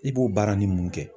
I b'o baara ni mun kɛ?